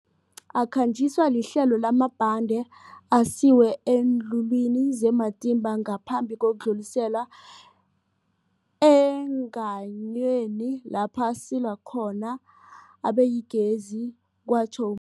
Akhanjiswa lihlelo lamabhande asiwe eenlulwini ze-Matimba ngaphambi kokudluliselwa eengayweni lapho asilwa khona abeyigezi, kwatjho u-Mabotja.